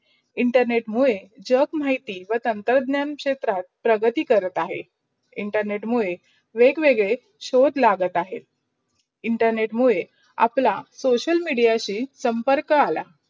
internet मुडे जग माहिती व तांत्रज्ञान क्षेत्रात प्रगती करत अहे. internet मुदे वेग-वेग्दे शोध लागत अहे. internet मुडे आपला social media संपर्क आला.